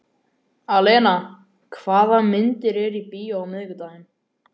Alena, hvaða myndir eru í bíó á miðvikudaginn?